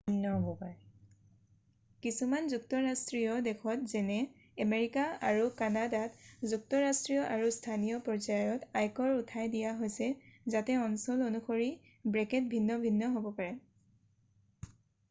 কিছুমান যুক্তৰাষ্ট্ৰীয় দেশত যেনে আমেৰিকা আৰু কানাডাত যুক্তৰাষ্ট্ৰীয় আৰু স্থানীয় পৰ্যায়ত আয়কৰ উঠাই দিয়া হৈছে যাতে অঞ্চল অনুসৰি ব্ৰেকেট ভিন্ন ভিন্ন হ'ব পাৰে